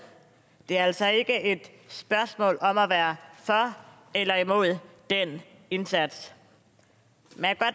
det er altså ikke et spørgsmål om at være for eller imod den indsats men